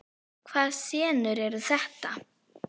Hvaða senur eru þetta?